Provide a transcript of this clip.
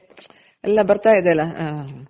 ಎಲ್ಲ ಬರ್ತಾ ಇದೆ ಅಲ